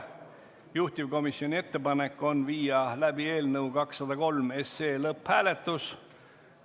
Juhtivkomisjoni ettepanek on viia läbi eelnõu 203 lõpphääletus.